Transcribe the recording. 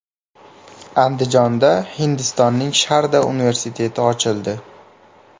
Andijonda Hindistonning Sharda universiteti ochildi.